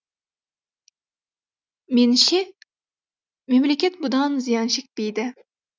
меніңше мемлекет бұдан зиян шекпейді